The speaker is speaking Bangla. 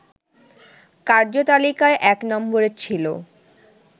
কার্যতালিকায় ১ নম্বরে ছিল